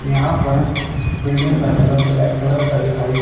यहां पर बिल्डिंग का कलर ब्लैक कलर का दिखाई--